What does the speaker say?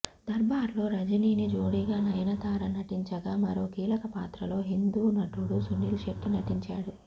దర్బార్లో రజనీకి జోడిగా నయనతార నటించగా మరో కీలక పాత్రలో హిందీ నటుడు సునీల్ శెట్టి నటించాడు